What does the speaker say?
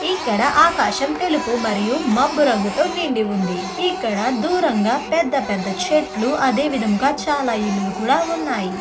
ఇక్కడ ఆకాశం తెలుపు మరియు మబ్బు రంగుతో నిండి ఉంది ఇక్కడ దూరంగా పెద్ద పెద్ద చెట్లు అదే విధముగా ఇల్లులు కూడా ఉన్నాయి.